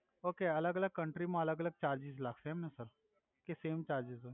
okay અલ્ગ અલ્ગ કંટ્રીમા અલ્ગ અલ્ગ ચાર્જિસ લાગસે એમ ને સર કે સેમ ચાર્જિસ હોય